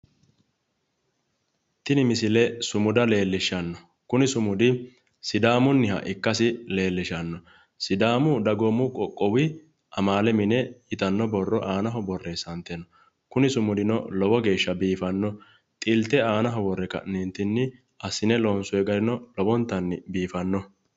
Tini misile sumuda leellishano, kuni sumudi sidaamuniha ikkasi leellishano, Sidaamu Dagoomu Qoqqowi Amaale Mine yittano borro aanaho borreessante no. Kuni sumudino lowo geeshsha biifano, xilte aanaho worre ka'nentinni assine loonsonni garino lowontanni biifanoho